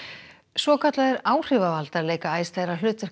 svokallaðir áhrifavaldar leika æ stærra hlutverk